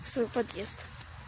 свой подъезд